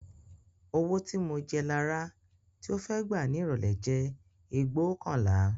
Owó tí mo jẹ Lará tí ó fẹ́ gbà ní ìrọ̀lẹ́ jẹ́ ẹgbóokànlá